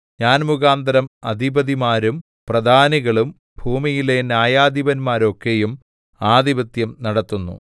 ഞാൻ മുഖാന്തരം അധിപതിമാരും പ്രധാനികളും ഭൂമിയിലെ ന്യായാധിപന്മാരൊക്കെയും ആധിപത്യം നടത്തുന്നു